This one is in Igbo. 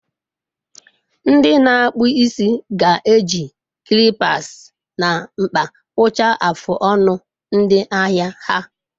Ndị na-akpụ isi ga-eji clippers na mkpa kpụchaa afụ ọnụ ndị ahịa ha.